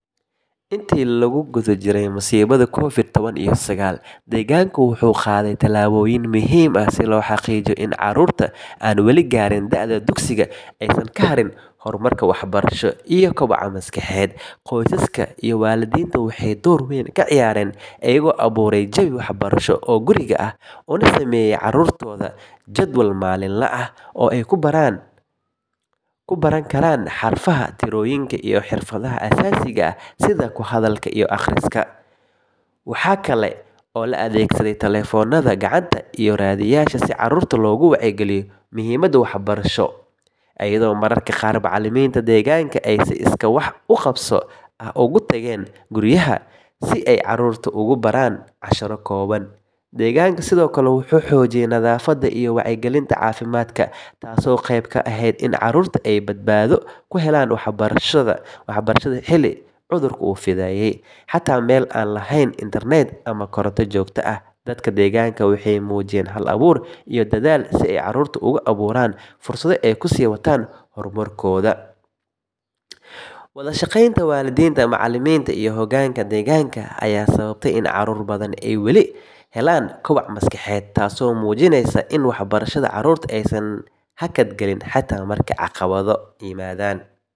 Intii lagu jiray masiibadii covid toban iyo sagaal, deegaankaagu wuxuu qaaday tallaabooyin muhiim ah si loo xaqiijiyo in carruurta aan wali gaarin da'da dugsiga aysan ka harin horumarkooda waxbarasho iyo kobaca maskaxeed. Qoysaska iyo waalidiintu waxay door weyn ka ciyaareen, iyagoo abuuray jawi waxbarasho oo guriga ah, una sameeyay carruurta jadwal maalinle ah oo ay ku baran karaan xarfaha, tirooyinka, iyo xirfadaha aasaasiga ah sida ku hadalka iyo akhriska. Waxaa kale oo la adeegsaday taleefannada gacanta iyo raadiyeyaasha si caruurta loogu wacyigeliyo muhiimadda waxbarashada, iyadoo mararka qaar macallimiinta deegaanka ay si iskaa wax u qabso ah ugu tageen guryaha si ay carruurta ugu baraan casharro kooban. Deegaanka sidoo kale wuxuu xoojiyay nadaafadda iyo wacyigelinta caafimaadka, taasoo qayb ka ahayd in carruurta ay badbaado ku helaan waxbarashada xilli cudurku uu fidayay. Xataa meelo aan lahayn internet ama koronto joogto ah, dadka deegaanka waxay muujiyeen hal-abuur iyo dadaal si ay carruurta ugu abuuraan fursado ay ku sii wataan horumarkooda. Wada shaqaynta waalidiinta, macallimiinta iyo hogaanka deegaanka ayaa sababtay in caruur badan ay weli helaan kobac maskaxeed, taasoo muujinaysa in waxbarashada caruurta aysan hakad galin xataa marka caqabado waaweyn jiraan.